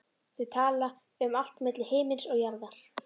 Þau tala um allt milli himins og jarðar.